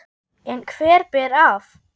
En hver ber af?